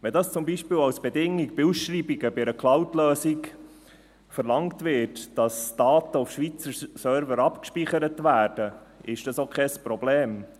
Wenn zum Beispiel als Bedingung bei Ausschreibungen bei einer Cloud-Lösung verlangt wird, dass Daten auf Schweizer Servern abgespeichert werden, ist das auch kein Problem.